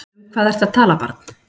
Um hvað ertu að tala barn?